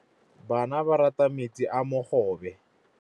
Bana ba rata metsi a mogobe.